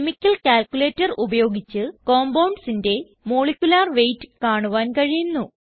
chemical calculator ഉപയോഗിച്ച് compoundsന്റെ molecular weight കാണുവാൻ കഴിയുന്നു